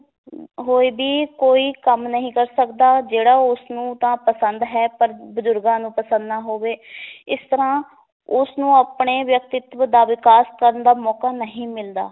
ਹੋਏ ਵੀ ਕੋਈ ਕੰਮ ਨਹੀਂ ਕਰ ਸਕਦਾ ਜਿਹੜਾ ਉਸਨੂੰ ਤਾਂ ਪਸੰਦ ਹੈ ਪਰ ਬੁਜ਼ੁਰਗਾਂ ਨੂੰ ਪਸੰਦ ਨਾ ਹੋਵੇ ਇਸ ਤਰਾਂ ਉਸਨੂੰ ਆਪਣੇ ਵਿਅਕਤਿਤਵ ਦਾ ਵਿਕਾਸ ਕਰਨ ਦਾ ਮੌਕਾ ਨਹੀਂ ਮਿਲਦਾ,